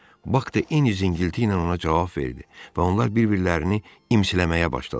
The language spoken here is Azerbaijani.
Bak da eyni zingilti ilə ona cavab verdi və onlar bir-birlərini imsiləməyə başladılar.